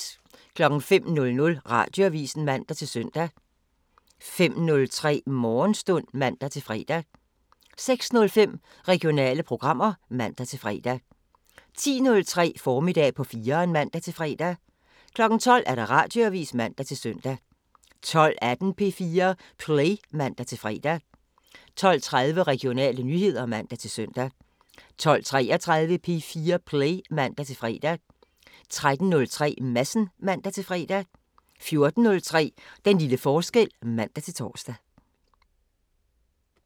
05:00: Radioavisen (man-søn) 05:03: Morgenstund (man-fre) 06:05: Regionale programmer (man-fre) 10:03: Formiddag på 4'eren (man-fre) 12:00: Radioavisen (man-søn) 12:18: P4 Play (man-fre) 12:30: Regionale nyheder (man-søn) 12:33: P4 Play (man-fre) 13:03: Madsen (man-fre) 14:03: Den lille forskel (man-tor)